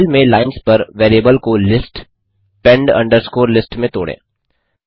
file में lines पर variable को लिस्ट पेंड अंडरस्कोर लिस्ट में तोड़ें